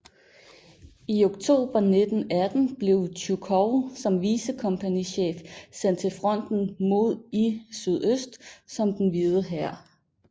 I oktober 1918 blev Tjujkov som vicekompagnichef sendt til fronten mod i sydøst mod den Hvide hær